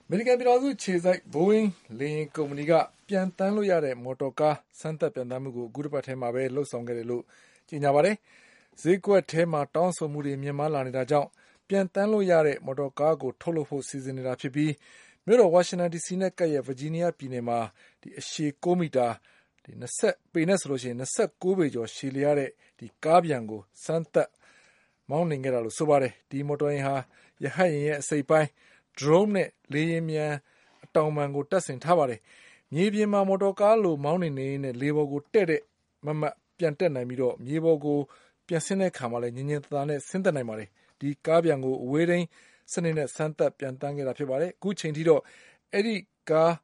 မေရိကန်ပြည်ထောင်စုအခြေစိုက် ဘိုးအင်းလေယာဉ်ကုမ္ပဏီက ပျံသန်းလို့ရတဲ့ မော်တော်ကား စမ်းသပ်ပျံသန်းမှုကို အခုတပတ်ထဲ မှာလုပ်ဆောင်ခဲ့တယ်လို့ဆိုပါတယ်။ ဈေးကွက်မှာတောင်းဆိုမှုတွေမြင့်မားလာနေလို့ ပျံသန်းလို့ရတဲ့ ကားကိုထုတ်လုပ်ဖို့ စီစဉ်နေတာဖြစ်ပြီး မြို့တော်ဝါရှင်တန်ဒီစီနဲ့ကပ်ရက် ဗာဂျီးနီးယားပြည်နယ်မှာ ၂၉ပေကျော်ရှည်လျှားတဲ့ ကားပျံကိုစမ်း သပ်မောင်းနှင်ခဲ့တာလို့ဆိုပါတယ်။ ဒီမော်တော်ယာဉ်မှာ ရဟတ်ယာဉ်ရဲ့ အစိတ်အပိုင်း၊ Drone ရဲ့အစိတ်အပိုင်းနဲ့ လေယာဉ်ပျံအတောင်ပံတု့ိကို တပ်ဆင်ထားပါတယ်။ မြေပြင်မှာ မော်တော်ကားလိုမောင်းနှင်နေရင်း လေထဲကိုဒေါင်လိုက်တည့် တည့်ပျံတက်နိုင်ပြီး၊ မြေပြင်ပေါ်ကိုလည်းညင်ညင်သာသာဆင်းသက်နိုင်ပါတယ်။ ဒီကားပျံကို အဝေးထိန်းစနစ်စမ်းသပ် ပျံသန်းခဲ့တာပါ။ အခုချိန်ထိတော့ ဒီကား